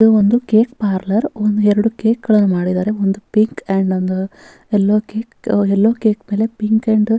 ಇದು ಒಂದು cake parlour ಎರಡು ಕೇಕ್ ಗಳನ್ನೂ ಮಾಡಿದ್ದಾರೆ ಒಂದು ಪಿಂಕ್ ಒಂದು ಆಂಡ್ ಒಂದು ಎಲ್ಲೊ ಕೇಕ್ ಎಲ್ಲೊ ಕೇಕ್ ಮೇಲೆ-